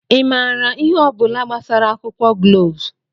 ị maara ihe ọ bụla gbasara akwụkwọ gloves?